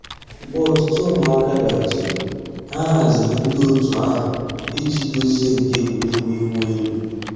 Mgbè òtùtù ǔ́mụ̀àkà bịàrùtèrè, ànyị̀ hàzìri ńdí ọ̀tù àhụ̀ íjì dòzìe nkà ègwè́régwụ̀ ị̀wụ̀ èlù.